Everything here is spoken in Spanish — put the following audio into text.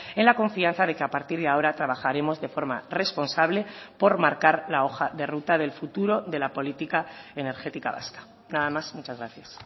en la confianza de que a partir de ahora trabajaremos de forma responsable por marcar la hoja de ruta del futuro de la política energética vasca nada más muchas gracias